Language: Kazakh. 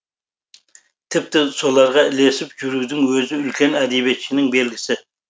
тіпті соларға ілесіп жүрудің өзі үлкен әдебиетшінің белгісі